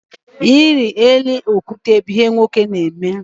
Ịrị elu okwute bụ ihe ụmụ nwoke na-eme.